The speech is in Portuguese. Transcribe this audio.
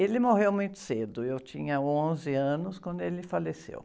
Ele morreu muito cedo, eu tinha onze anos quando ele faleceu.